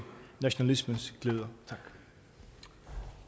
nationalismens gløder